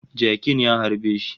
Jakin ya harbe shi